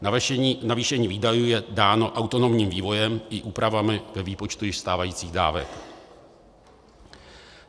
Navýšení výdajů je dáno autonomním vývojem i úpravami ve výpočtu již stávajících dávek.